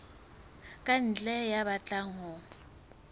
ka ntle ya batlang ho